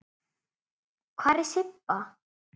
Hvar er Sibba?